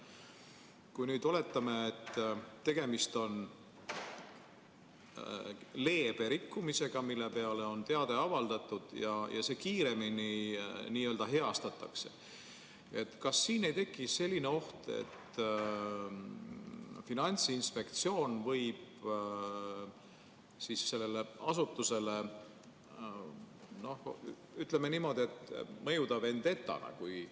Kui oletame, et tegemist on leebe rikkumisega, mille kohta on teade avaldatud, ja see kiiresti n‑ö heastatakse, siis kas ei teki ohtu, et Finantsinspektsiooni tegevus võib sellele asutusele mõjuda justkui vendetana?